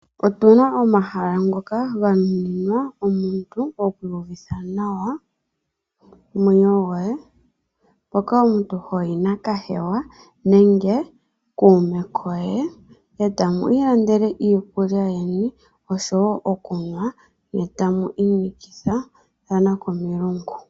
Otuna omahala ngoka ganuninwa omuntu oku uvitha nawa omwenyo goye. Hoka omuntu hoyi nakahewa nenge kuume koye etamu ilandele iikulya yeni oshowo okunwa ne tamu inikathana komilungu.